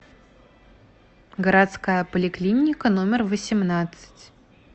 городская поликлиника номер восемнадцать